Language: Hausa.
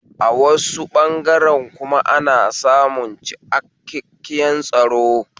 A wasu ɓangaren kuma ana samun ciakkaken tsaro